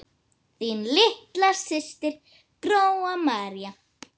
Þín litla systir, Gróa María.